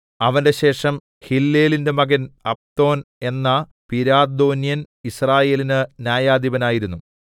അവന്റെ ശേഷം ഹില്ലേലിന്റെ മകൻ അബ്ദോൻ എന്ന പിരാഥോന്യൻ യിസ്രായേലിന് ന്യായാധിപനായിരുന്നു